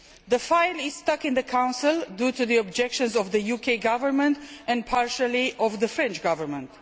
The file is stuck in the Council due to the objections of the UK Government and partially of the French Government.